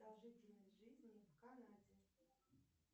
продолжительность жизни в канаде